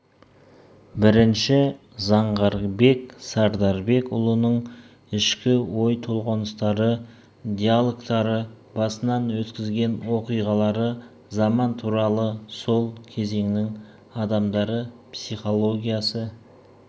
бірінші заңғарбек сардарбекұлының ішкі ой толғаныстары диалогтары басынан өткізген оқиғалары заман туралы сол кезеңнің адамдары психологиясы